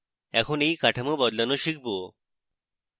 এখন এই কাঠামো বদলানো শিখব